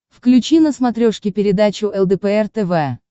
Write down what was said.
включи на смотрешке передачу лдпр тв